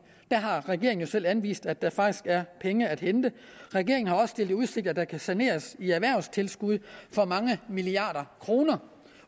der har regeringen jo selv anvist at der faktisk er penge at hente regeringen har også stillet i udsigt at der kan saneres i erhvervstilskud for mange milliarder kroner